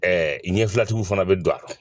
ɲɛfila tigiw fana be don a la